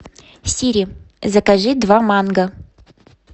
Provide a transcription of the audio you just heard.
сири закажи два манго